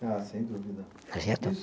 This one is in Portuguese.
Ah, sem dúvida.